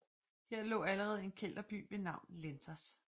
Her lå allerede en kelterby ved navn Lentos